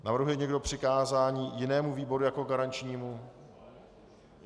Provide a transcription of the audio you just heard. Navrhuje někdo přikázání jinému výboru jako garančnímu?